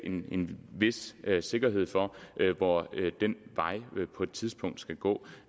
en vis sikkerhed for hvor den vej på et tidspunkt skal gå